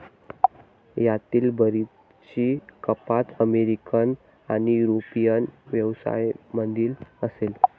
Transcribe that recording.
यातील बरीचशी कपात अमेरिकन आणि युरोपियन व्यवसायामधील असेल.